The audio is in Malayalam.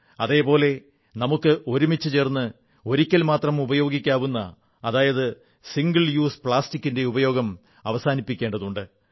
അതേ പോലെ നമുക്ക് ഒരുമിച്ചുചേർന്ന് ഒറ്റത്തവണ മാത്രം ഉപയോഗിക്കാവുന്ന സിംഗിൾ യൂസ് പ്ലാസ്റ്റിക്കിന്റെ ഉപയോഗം അവസാനിപ്പിക്കേണ്ടതുണ്ട്